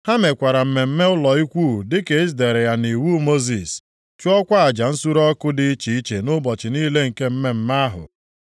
Ha mekwara mmemme ụlọ Ikwu dịka e dere ya nʼiwu Mosis, chụọkwa aja nsure ọkụ dị iche iche nʼụbọchị niile nke mmemme ahụ.